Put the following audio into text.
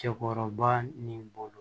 Cɛkɔrɔba ni bolo